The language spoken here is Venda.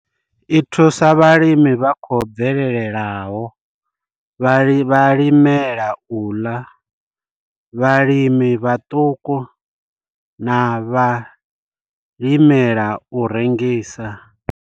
I thusa vhalimi vha khou bvelelaho, vhalimela u ḽa, vhalimi vhaṱuku na vhalimela u rengisa.